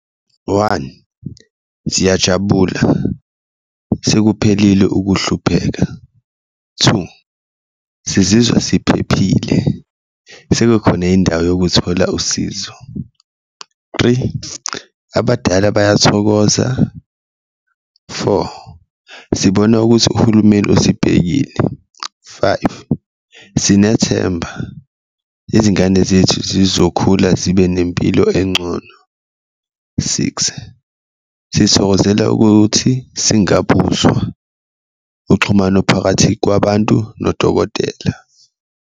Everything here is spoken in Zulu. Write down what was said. One, siyajabula sekuphelile ukuhlupheka, two, sizizwa siphephile sebekhona indawo yokuthola usizo, three, abadala bayathokoza, four, sibona ukuthi uhulumeni usibhekile, five, sinethemba izingane zethu zizokhula zibe nempilo encono, six, sithokozela ukuthi singabuzwa uxhumano phakathi kwabantu nodokotela.